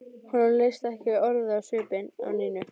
Honum leist ekki orðið á svipinn á Nínu.